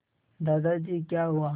दादाजी क्या हुआ